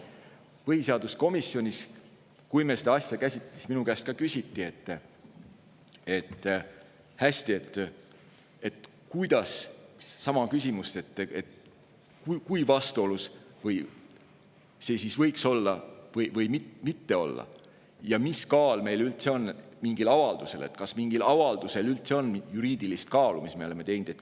Kui me põhiseaduskomisjonis seda asja käsitlesime, siis minu käest ka küsiti sama küsimust, et kui vastuolus see siis võiks olla või mitte olla ja mis kaal üldse on mingil meie avaldusel, kas üldse on juriidilist kaalu mingil avaldusel, mis me oleme teinud.